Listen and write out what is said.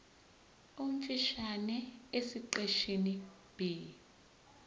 omfushane esiqeshini b